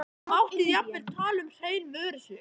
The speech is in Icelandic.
Mátti jafnvel tala um hrein vörusvik.